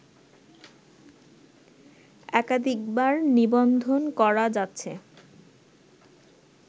একাধিকবার নিবন্ধন করা যাচ্ছে